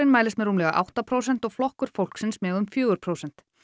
mælist með rúmlega átta prósent og Flokkur fólksins með um fjögur prósent